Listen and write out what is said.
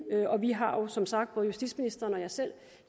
og vi har jo som sagt både justitsministeren og jeg selv